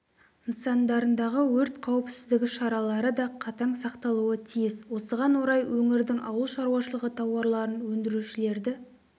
нысандарындағы өрт қауіпсіздігі шаралары да қатаң сақталуы тиіс осыған орай өңірдің ауыл шаруашылығы тауарларын өндірушілерді